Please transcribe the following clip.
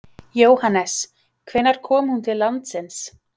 Jóhannes: Hvenær kom hún til landsins?